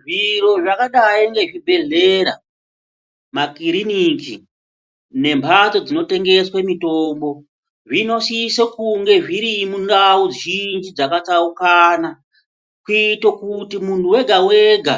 Zviro zvakadayi ngezvibhedhlera, makiriniki nemphatso dzinotengeswe mithombo zvinosise kunge zviri mundau zhinji dzakatsaukana kuite kuti muntu wegawega